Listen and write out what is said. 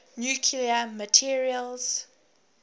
nuclear materials